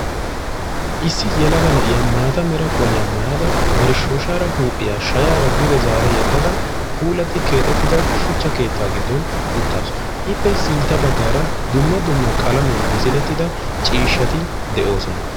Issi yelaga na'iya maatta mera qoliya maayadda keetta matan uttaassu ippe sintta bagan darobatti de'osonna.